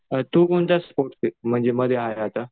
अ तू कोणत्या स्पोर्ट्स मध्ये आहे आता?